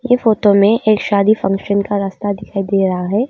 ये फोटो में एक शादी फंक्शन का रास्ता दिखाई दे रहा है।